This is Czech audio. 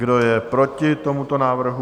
Kdo je proti tomuto návrhu?